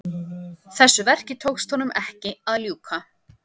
Þessu verki tókst honum ekki að ljúka.